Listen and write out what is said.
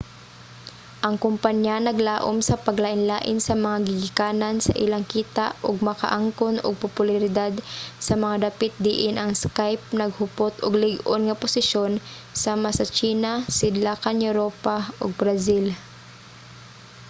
ang kompanya naglaum sa paglain-lain sa mga gigikanan sa ilang kita ug makaangkon og popularidad sa mga dapit diin ang skype naghupot og lig-on nga posisyon sama sa tsina sidlakan europa ug brazil